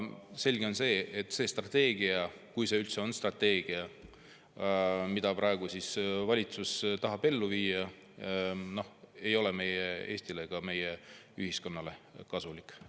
Selge on see, et see strateegia – kui see üldse on strateegia, mida valitsus tahab ellu viia – ei ole Eestile ega meie ühiskonnale kasulik.